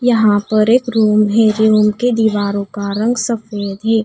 यहां पर एक रूम है रूम के दीवारों का रंग सफेद है।